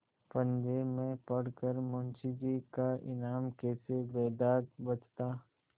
पंजे में पड़ कर मुंशीजी का ईमान कैसे बेदाग बचता